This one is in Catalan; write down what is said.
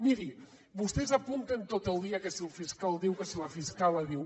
miri vostès apunten tot el dia que si el fiscal diu que si la fiscalia diu